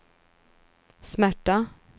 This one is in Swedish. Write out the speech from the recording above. smärta